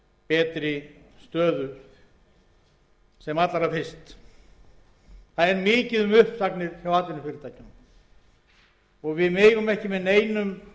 betri stöðu sem allra fyrst það er mikið um uppsagnir hjá atvinnufyrirtækjunum og við megum ekki með neinum